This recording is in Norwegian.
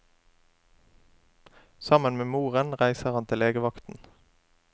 Sammen med moren reiser han til legevakten.